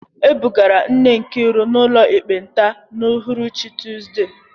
E bugara nne Nkiru n’ụlọ ekpenta n’uhuruchi Tuzdee.